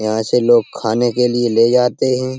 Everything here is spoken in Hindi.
यहाँ से लोग खाने के लिए ले जाते हैं।